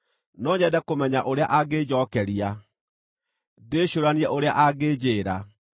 No nyende kũmenya ũrĩa angĩĩnjookeria, ndĩcũũranie ũrĩa angĩnjĩĩra.